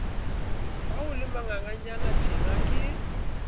ha o le manganganyanatjena ke